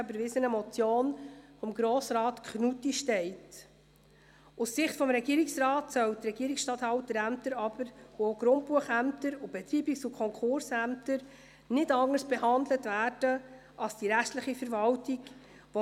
Sie haben der Planungserklärung der FiKo-Mehrheit und FDP/Haas zugestimmt mit 101 Ja- zu 42 Nein-Stimmen bei 5 Enthaltungen.